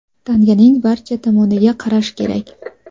Tanganing barcha tomoniga qarash kerak.